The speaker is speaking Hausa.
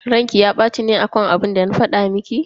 Ranki ya baci ne akan abinda na fada miki?